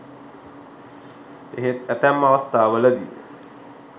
එහෙත් ඇතැම් අවස්ථා වලදී